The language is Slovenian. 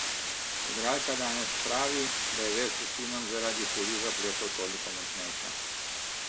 Igralka danes pravi, da je vez s sinom zaradi hudih zapletov toliko močnejša.